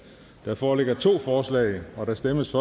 der foreligger to forslag der stemmes